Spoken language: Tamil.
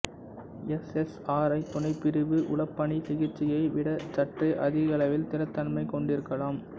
எஸ்எஸ்ஆர்ஐ துணைப்பிரிவு உளப்பிணி சிகிச்சையை விட சற்றே அதிக அளவில் திறத்தன்மை கொண்டிருக்கலாம்